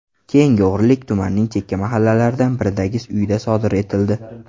Keyingi o‘g‘rilik tumanning chekka mahallalaridan biridagi uyda sodir etildi.